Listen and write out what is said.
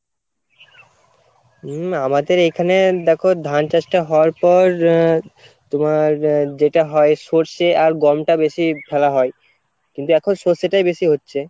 হম আমাদের এইখানে দেখো ধান চাষ টা হওয়ার পর আহ তোমার আহ যেটা হয় সর্ষে আর গমটা বেশি ফেলা হয় , কিন্তু এখন সর্ষেটাই বেশি হচ্ছে।